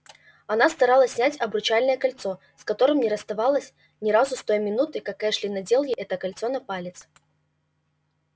она старалась снять обручальное кольцо с которым не расставалась ни разу с той минуты как эшли надел ей это кольцо на палец